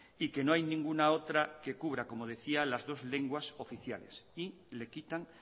y que no hay ninguna otra que cubra como decía las dos lenguas oficiales y le quitan